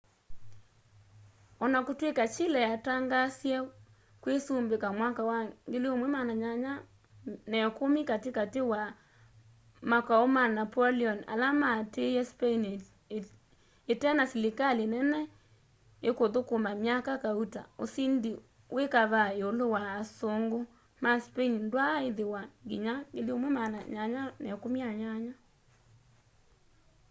ona kutw'ika chile yatangaasie kwisumbika mwaka wa 1810 katikati wa makau ma napoleon ala matiie spain itena silikali nene ikuthukuma myaka kauta usindi wi kavaa iulu wa asungu ma spain ndwaa ithiwa nginya 1818